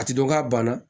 A ti dɔn k'a banna